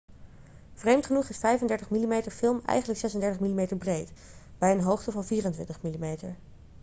vreemd genoeg is 35 mm-film eigenlijk 36 mm breed bij een hoogte van 24 mm